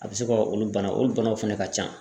A bɛ se ka olu bana olu banaw fɛnɛ ka ca.